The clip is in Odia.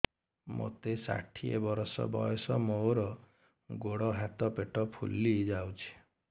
ମୋତେ ଷାଠିଏ ବର୍ଷ ବୟସ ମୋର ଗୋଡୋ ହାତ ପେଟ ଫୁଲି ଯାଉଛି